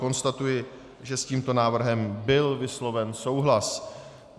Konstatuji, že s tímto návrhem byl vysloven souhlas.